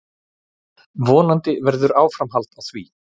Vonandi verður áframhald á því.